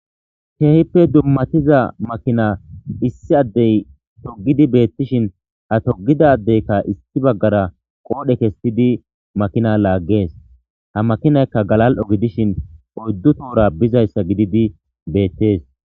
keehippe dummatiza makina issi addey togidi beettishin ha togidadeykka isti baggara qoodhe kestidi makina laaggees ha makinaykka galal7o gidishin oyddu tohora bizayssa gididi beettees